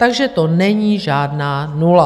Takže to není žádná nula.